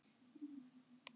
Berta að bera út Vísi.